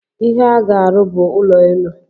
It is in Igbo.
Ihe aga-arụ bụ ụlọ elu.